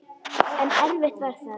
En erfitt var það.